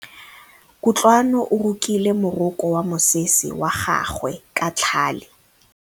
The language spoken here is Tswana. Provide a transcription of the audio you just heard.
Kutlwanô o rokile morokô wa mosese wa gagwe ka tlhale.